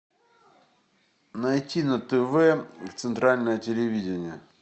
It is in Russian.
найти на тв центральное телевидение